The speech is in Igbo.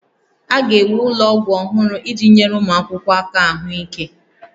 A ga-ewu ụlọ ọgwụ ọhụrụ iji nyere ụmụ akwụkwọ aka ahụike